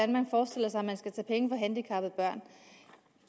man forestiller sig at man skal tage penge fra handicappede børn